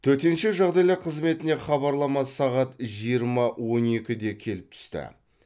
төтенше жағдайлар қызметіне хабарлама сағат жиырма он екіде келіп түсті